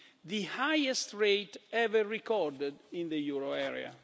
the highest rate ever recorded in the euro area.